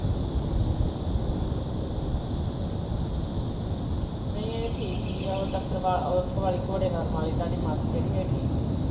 ਨਹੀਂ ਏਹ ਠੀਕ ਹੀਂ ਆ ਜਫਰਵਾਲ ਓਥੋਂ ਘੋੜੇਵਾਲ ਵਾਲੀ ਸਾਡੀ ਮਾਸੀ ਜਹਿੜੀ ਏਹ ਠੀਕ ਸੀ